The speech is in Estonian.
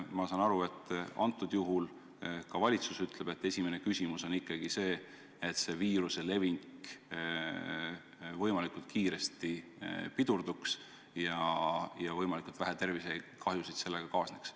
Ma saan aru, et ka valitsus ütleb, et esimene siht on ikkagi see, et viiruse levik võimalikult kiiresti pidurduks ja võimalikult vähe tervisekahjusid viirusega kaasneks.